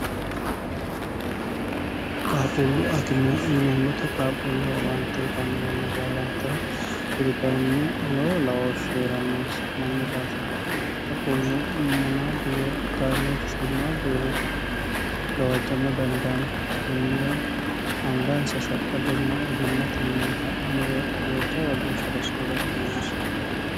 qaaqullu akime yineemmoti qaaqulleho owaante utanno yanna baalantera kuri kayinni loowo laoohshi herannonsa mannu daafira qaaqullu mana duwe daimoof shimmaddu heere gawajjama dandaanno kunnira angaansa shaqqa donna ogimmate mi hadhinore wejjawa geeshsha rosinore kka noonse